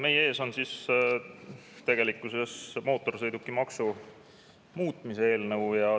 Meie ees on tegelikkuses mootorsõidukimaksu muutmise eelnõu.